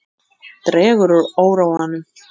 Dregur úr óróanum